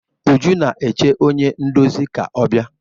Uju na-eche onye ndozi ka ọ bịa.